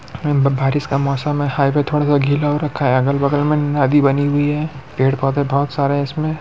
बारिश का मौसम है हाईवे थोड़ा सा गिला हो रखा है अगल-बगल नदी बनी हुई है पेड़-पौधे बोहोत सारे है इसमे--